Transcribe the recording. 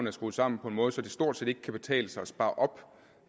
er skruet sammen på en måde så det stort set ikke kan betale sig at spare op